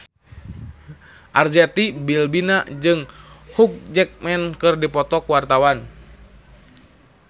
Arzetti Bilbina jeung Hugh Jackman keur dipoto ku wartawan